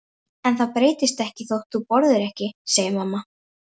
En það breytist ekkert þótt þú borðir ekki, segir mamma.